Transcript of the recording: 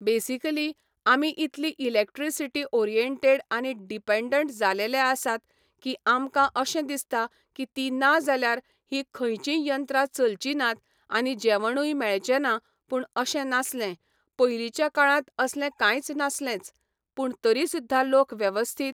basically आमी इतली electricity oriented आनी डिपेऩ्डंट जालेले आसात की आमकां अशें दिसता की ती ना जाल्यार हीं खंयचींय यत्रां चलची नात आनी जेवणूय मेळचें ना पूण अशें नासलें, पयलींच्या काळांत असलें कांय नासलेंच, पूण तरी सुद्दा लोक वेवस्थीत